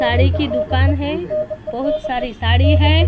साड़ी की दुकान है बहुत सारी साड़ी है।